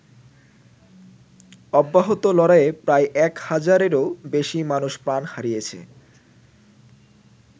অব্যাহত লড়াইয়ে প্রায় এক হাজারেরও বেশি মানুষ প্রাণ হারিয়েছে।